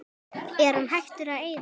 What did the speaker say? Er hann hættur að eyða?